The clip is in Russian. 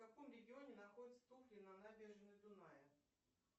в каком регионе находятся туфли на набережной дуная